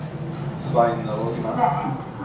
Svein Rogne